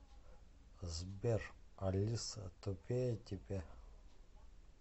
сбер алиса тупее тебя